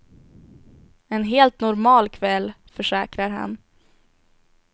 En helt normal kväll, försäkrar han.